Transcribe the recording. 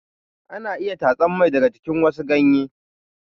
Ana iya tatsan mai daga jikin wasu ganye.